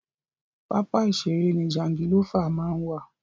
Pápá ìṣère ni jangilófà máa ń wà.